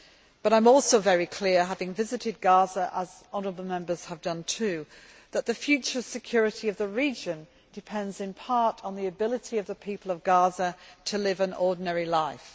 But I am also very clear, having visited Gaza, as honourable Members have done too, that the future security of the region depends in part on the ability of the people of Gaza to live an ordinary life